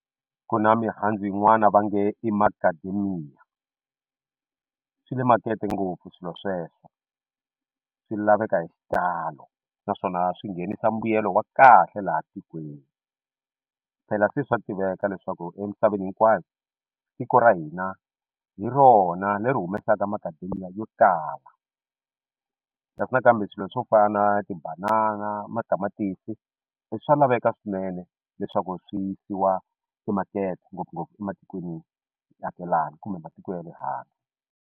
Ku na mihandzu yin'wana va nge i macadamia swi na makete ngopfu swilo sweswo swi laveka hi xitalo naswona swi nghenisa mbuyelo wa kahle laha tikweni phela se swa tiveka leswaku emisaveni hinkwayo tiko ra hina hi rona leri humesaka macadamia yo tala leswi nakambe swilo swo fana na tibanana matamatisi i swa laveka swinene leswaku swi yisiwa timakete ngopfungopfu ematikweniakelani kumbe matiko ya le handle.